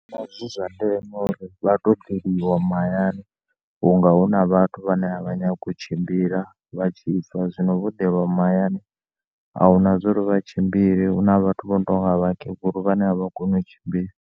Ndi vhona zwi zwa ndeme uri vhato deliwa mahayani vhunga na vhathu vhane a vha nyagi u tshimbila vha tshibva zwino vho ḓelwa mahayani ahuna uri vha tshimbile huna vhathu vha notonga vhakegulu vhane a vha koni u tshimbila.